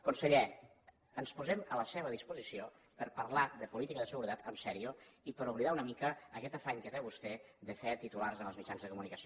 conseller ens posem a la seva disposició per a parlar de política de seguretat seriosament i per a oblidar una mica aquest afany que té vostè de fer titulars en els mitjans de comunicació